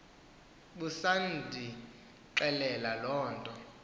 busandixelela loo nto